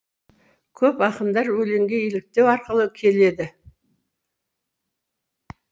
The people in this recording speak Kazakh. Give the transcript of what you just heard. көп ақындар өлеңге еліктеу арқылы келеді